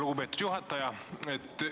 Lugupeetud juhataja!